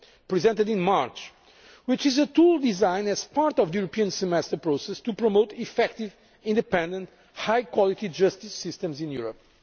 Presented in March, this is a tool designed as part of the European Semester process to promote effective, independent and high quality justice systems in